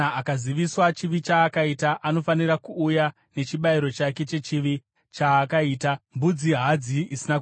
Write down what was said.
Kana akaziviswa chivi chaakaita, anofanira kuuya nechibayiro chake chechivi chaakaita mbudzi hadzi isina kuremara.